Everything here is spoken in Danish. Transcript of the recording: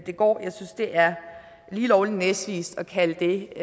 går jeg synes det er lige lovlig næsvist at kalde det